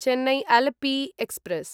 Chennai Alleppey express